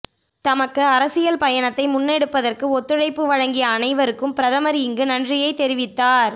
தமக்கு அரசியல் பயணத்தை முன்னெடுப்பதற்கு ஒத்துழைப்பு வழங்கிய அனைவருக்கும் பிரதமர் இங்கு நன்றியைத் தெரிவித்தார